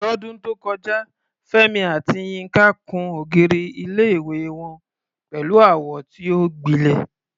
Lọ́dún tó kọjá, Fẹ́mi àti Yinka kùn ògiri ilé-ìwé wọn pẹ̀lú àwọ̀ tí ó gbilẹ̀.